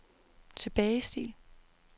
tilbagestil